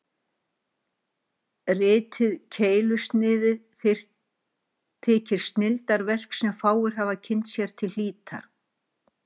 Ritið Keilusnið þykir snilldarverk, sem fáir hafa kynnt sér til hlítar.